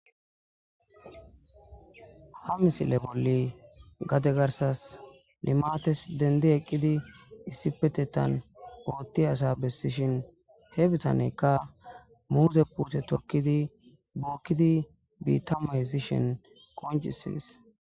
ha misile bolli gade garsas limates dendi eqqidi issi petetan ootti asa bessishin he bitaneykka muuze pute tokkidi bookkidi biittama hesishen qoncisis